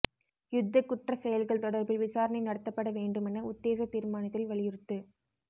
யுத்தக் குற்றச் செயல்கள் தொடர்பில் விசாரணை நடத்தப்பட வேண்டுமென உத்தேச தீர்மானத்தில் வலியுறுத்து